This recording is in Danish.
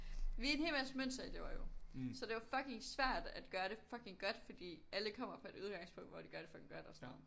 Vi er en hel masse mønsterelever jo. Så det jo fucking svært at gøre det fucking godt fordi alle kommer fra et udgangspunkt hvor de gør det fucking godt og sådan noget